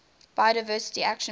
biodiversity action plan